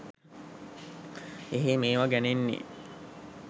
එහේ මේවා ගැනෙන්නේ